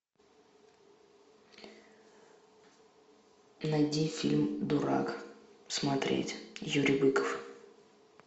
найди фильм дурак смотреть юрий быков